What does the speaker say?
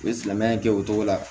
U ye silamɛya kɛ o cogo la